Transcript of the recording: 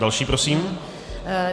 Další prosím.